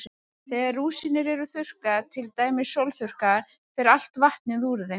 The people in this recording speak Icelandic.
Þegar rúsínur eru þurrkaðar, til dæmis sólþurrkaðar, fer allt vatnið úr þeim.